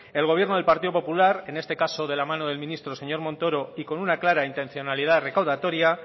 el gobierno del partido popular en este caso de la mano del ministro señor montoro y con una clara intencionalidad recaudatoria